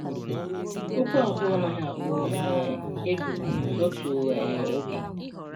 “Ụkwụ abụọ anaghị akpọ um egwu n'otu um oge.”